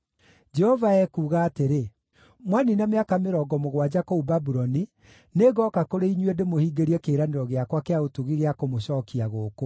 Jehova ekuuga atĩrĩ: “Mwaniina mĩaka mĩrongo mũgwanja kũu Babuloni, nĩngooka kũrĩ inyuĩ ndĩmũhingĩrie kĩĩranĩro gĩakwa kĩa ũtugi gĩa kũmũcookia gũkũ.